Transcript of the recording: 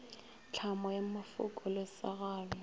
tlhamo ya mafoko le segalo